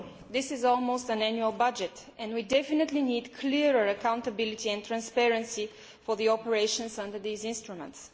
This is almost an annual budget, and we definitely need clearer accountability and greater transparency with regard to operations under these instruments.